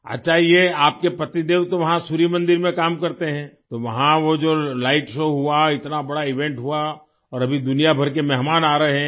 अच्छा ये आपके पतिदेव तो वहाँ सूर्य मंदिर में काम करते हैं तो वहां जो वो लाइट शो हुआ इतना बड़ा इवेंट हुआ और अभी दुनियाभर के मेहमान आ रहे हैं